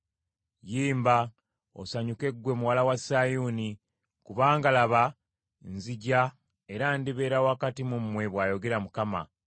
“Yimba, osanyuke ggwe muwala wa Sayuuni, kubanga laba nzija era ndibeera wakati mu mmwe,” bw’ayogera Mukama .